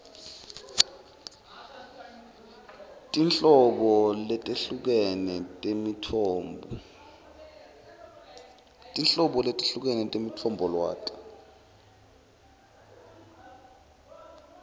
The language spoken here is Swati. tinhlobo letehlukene temitfombolwati